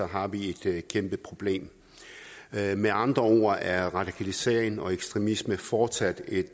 har vi et kæmpeproblem med med andre ord er radikalisering og ekstremisme fortsat et